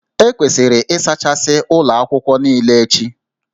E kwesịrị ịsachasị ụlọ akwụkwọ niile echi